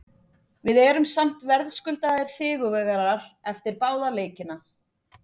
Við erum samt verðskuldaðir sigurvegarar eftir báða leikina.